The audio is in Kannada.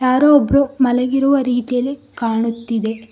ಯಾರೋ ಒಬ್ಬರು ಮಲಗಿರುವ ರೀತಿಯಲ್ಲಿ ಕಾಣುತ್ತಿದೆ.